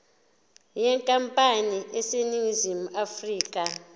yenkampani eseningizimu afrika